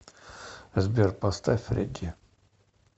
сбер поставь фредди